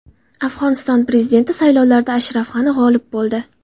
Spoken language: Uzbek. Afg‘oniston prezidenti saylovlarida Ashraf G‘ani g‘olib bo‘ldi .